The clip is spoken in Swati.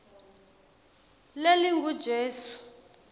lelingujesu